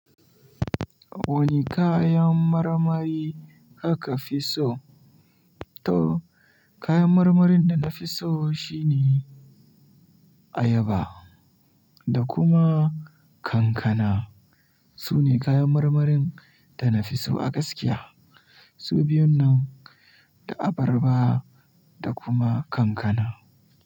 Wani kayan marmari aka fi so? To kayan marmarin da na fi so shine ayaba da kuma kankana. Su ne kayan marmarin da na fi so a gaskiya. Su biyun nan, da abarba da kuma kankana.